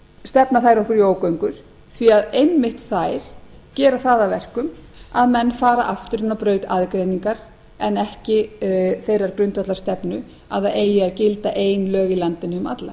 stefna þær okkur í ógöngur því að einmitt þær gera það að verkum að menn fara aftur inn á braut aðgreiningar en ekki þeirrar grundvallarstefnu að það eigi að gilda ein lög í landinu um alla